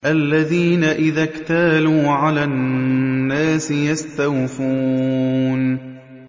الَّذِينَ إِذَا اكْتَالُوا عَلَى النَّاسِ يَسْتَوْفُونَ